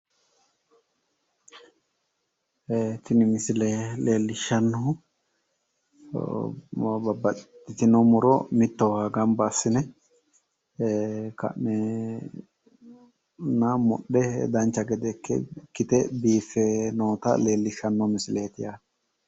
Tini misile leellishshannohu babbaxxitino muro mittowa gamba assi'ne ka'ne mudhe dancha gede ikkite biiffe noota leellishshanno misileeti yaate.